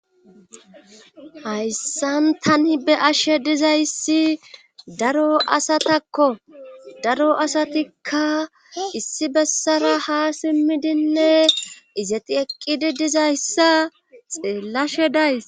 hayssan tani be'ashe dizayssi daro asatakko daro asatikka issi bessara ha simmidinne izeti eqqidi dizayssa xeellashe days